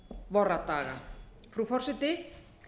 vorra daga frú forseti